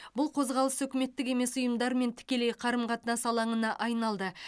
бұл қозғалыс үкіметтік емес ұйымдармен тікелей қарым қатынас алаңына айналды